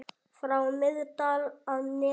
frá Miðdal að neðan.